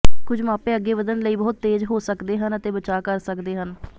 ਕੁਝ ਮਾਪੇ ਅੱਗੇ ਵਧਣ ਲਈ ਬਹੁਤ ਤੇਜ਼ ਹੋ ਸਕਦੇ ਹਨ ਅਤੇ ਬਚਾਅ ਕਰ ਸਕਦੇ ਹਨ